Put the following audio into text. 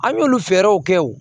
An y'olu fɛɛrɛw kɛ o